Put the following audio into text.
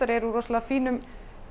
eru úr rosalega fínum